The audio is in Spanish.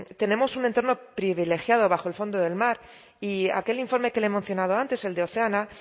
tenemos un entorno privilegiado bajo el fondo del mar y aquel informe que le he mencionado antes el de oceana